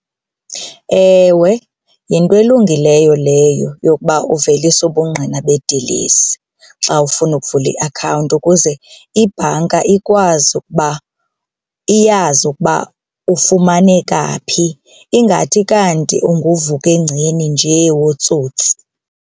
Ewe, yinto elungileyo leyo yokuba uvelise ubungqina bedilesi xa ufuna ukuvula iakhawunti ukuze ibhanka ikwazi ukuba iyazi ukuba ufumaneka phi, ingathi kanti unguvukengceni njee wotsotsi.